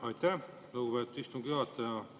Aitäh, lugupeetud istungi juhataja!